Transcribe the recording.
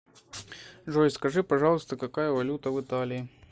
джой скажи пожалуйста какая валюта в италии